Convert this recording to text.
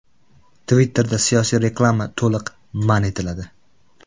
Twitter’da siyosiy reklama to‘liq man etiladi.